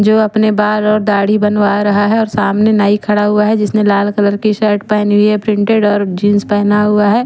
जो अपने बाल और दाढ़ी बनवा रहा है और सामने नाई खड़ा हुआ है जिसने लाल कलर की शर्ट पहनी हुई है प्रिंटेड और जीन्स पहना हुआ है ।